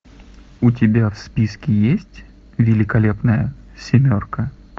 у тебя в списке есть великолепная семерка